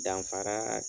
Danfara